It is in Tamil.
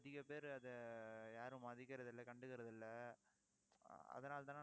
அதிக பேரு அதை யாரும் மதிக்கிறது இல்லை கண்டுக்கிறதில்லை. ஆஹ் அதனாலேதானே